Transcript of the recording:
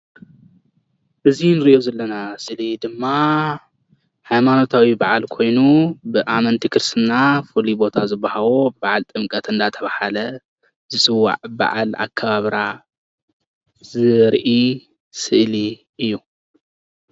እዚ እንሪኦ ዘለና ስእሊ ድማ ሃይማኖታዊ በዓል ኮይኑ ብኣመንቲ ክርስትና ፍሉይ ቦታ ዝቦሃዋ በዓል ጥምቀት እናተባሃለ ዝፅዋዕ በዓል ኣከባብራ ዘርኢ ስእሊ እዩ፡፡